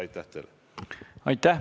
Aitäh!